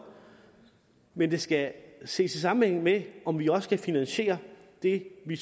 men det skal ses i sammenhæng med om vi så også kan finansiere det vi